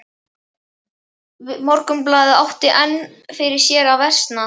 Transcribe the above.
Morgunblaðið og átti enn fyrir sér að versna.